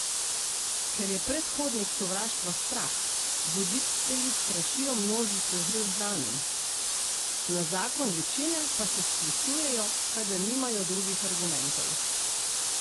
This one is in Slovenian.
Ker je predhodnik sovraštva strah, voditelji strašijo množice z neznanim, na zakon večine pa se sklicujejo, ker nimajo drugih argumentov.